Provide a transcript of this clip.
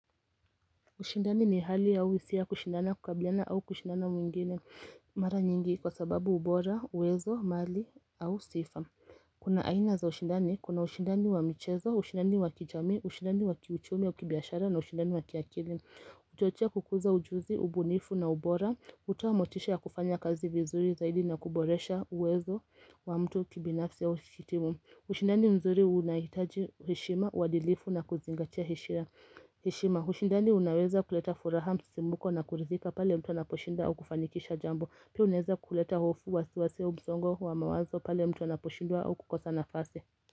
Ushindani ni hali au hisia kushindana kukabiliana au kushindana mwingine mara nyingi kwa sababu ubora, uwezo, mali au sifa. Kuna aina za ushindani, kuna ushindani wa michezo, usindani wakijamii, ushindani wakiuchumi au kibiyashara na ushindani wakiakili. Uchochea kukuza ujuzi, ubunifu na ubora, hutoamotisha ya kufanya kazi vizuri zaidi na kuboresha uwezo wa mtu kibinafsi ya timu. Ushindani mzuri unahitaji heshima, uwadilifu na kuzingatia heshima ushindani unaweza kuleta furaha msisimuko na kuridhika pale mtu anaposhinda au kufanikisha jambo Pia unaeza kuleta hofu wasiwasi au msongo wa mawazo pale mtu anaposhindwa au kukosa nafasi.